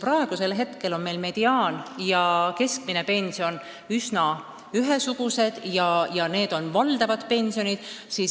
Praegu on mediaan- ja keskmine pension üsna ühesugused ja need on valdavad pensionid.